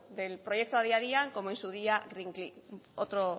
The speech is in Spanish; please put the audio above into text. del proyecto adi adian como en su día otro